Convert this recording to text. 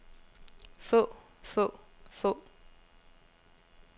få få få